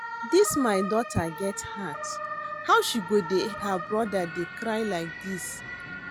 Dis my daughter get heart, how she go dey her brother dey cry like dis?